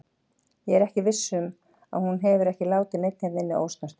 Ég er viss um að hún hefur ekki látið neinn hérna inni ósnortinn.